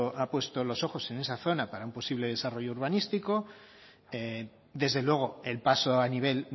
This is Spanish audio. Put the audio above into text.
ha puesto los ojos en esa zona para un posible desarrollo urbanístico desde luego el paso a nivel